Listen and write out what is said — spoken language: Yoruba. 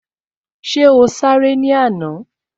Ṣé o sáré ní àná?